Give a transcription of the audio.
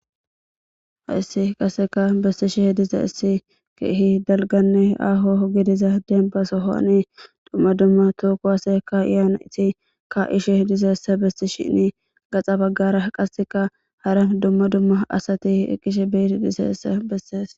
Ha issi kaseka bestishe h diza issi keehi dalganne aho gidiza deenbasohoani dumma dumma tooku hase ka iyaana iti ka ishe dizeessa besti shinni gaxa baggara qaseka hara dumma dumma asati eqqishe beiti diseessa bessees